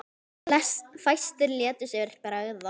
En fæstir létu sér bregða.